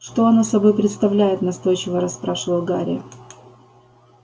что оно собой представляет настойчиво расспрашивал гарри